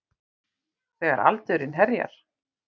Þegar aldurinn herjar.